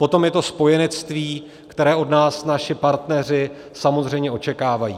Potom je to spojenectví, které od nás naši partneři samozřejmě očekávají.